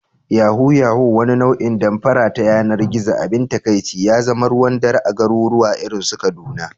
Yahoo yahoo, wani nau'in damfara ta yanar gizo, abin takaici ya zama ruwan dare a garuruwa irin su Kaduna